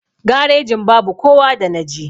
Garejin babu kowa da naje.